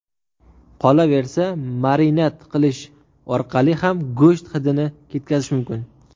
Qolaversa, marinad qilish orqali ham go‘sht hidini ketkazish mumkin.